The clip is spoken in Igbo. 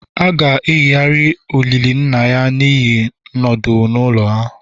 A ga-eyigharị olili nna ya n'ihi nọdụ n'ụlọ